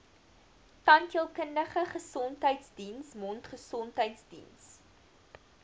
tandheelkundige gesondheidsdiens mondgesondheidsdiens